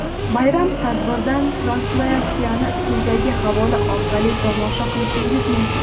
Bayram tadbiridan translyatsiyani quyidagi havola orqali tomosha qilishingiz mumkin:.